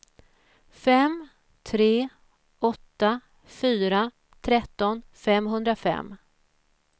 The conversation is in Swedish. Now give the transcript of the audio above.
fem tre åtta fyra tretton femhundrafem